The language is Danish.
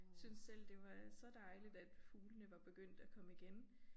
Syntes selv det var så dejligt at fuglene var begyndt at komme igen